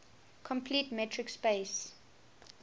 complete metric space